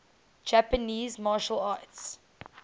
japanese martial arts